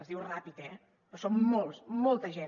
es diu ràpid eh però són molts molta gent